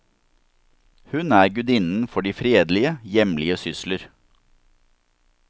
Hun er gudinnen for de fredelige, hjemlige sysler.